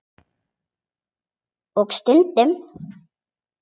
Og sund.